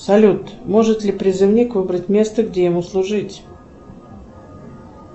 салют может ли призывник выбрать место где ему служить